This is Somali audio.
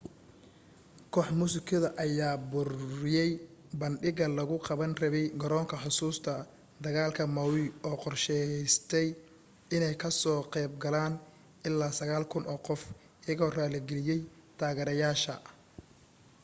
koox muusikada ayaa buriyay bandhigga lagu qaban rabay garoonka xusuusta dagaalka maui oo qorsheysnaa inay kasoo qayb galaan ilaa 9,000 oo qof iyagoo raali galiyay taageereyaasha